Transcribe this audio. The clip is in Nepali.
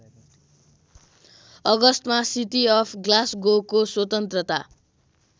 अगस्तमा सिटी अफ ग्लास्गोको स्वतन्त्रता